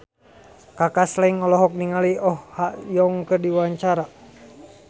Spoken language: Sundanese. Kaka Slank olohok ningali Oh Ha Young keur diwawancara